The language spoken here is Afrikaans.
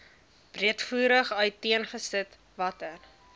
breedvoerig uiteengesit watter